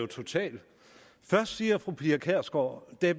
total først siger fru pia kjærsgaard at